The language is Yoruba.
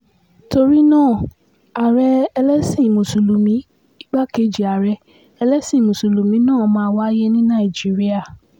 torí náà ààrẹ ẹlẹ́sìn mùsùlùmí igbákejì ààrẹ ẹlẹ́sìn mùsùlùmí máa wáyé ní nàìjíríà